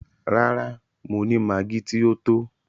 Rárá, mo ni maggi ti o tó.